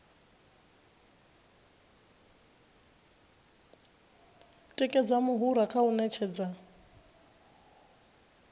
tikedza muhura kha u ṅetshedza